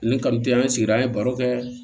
Ni ka te an sigira an ye baro kɛ